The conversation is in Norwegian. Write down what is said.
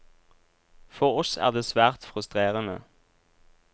For oss er det svært frustrerende.